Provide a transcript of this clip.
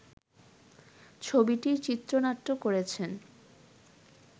ছবিটির চিত্রনাট্য করেছেন